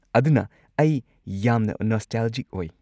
ꯑꯗꯨꯅ ꯑꯩ ꯌꯥꯝꯅ ꯅꯣꯁꯇꯥꯜꯖꯤꯛ ꯑꯣꯢ꯫